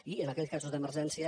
i en aquells casos d’emergència